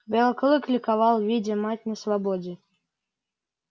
белый клык ликовал видя мать на свободе